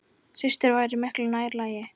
Systur væri miklu nær lagi.